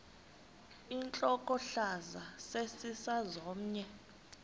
intlokohlaza sesisaz omny